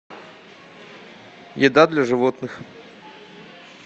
еда для животных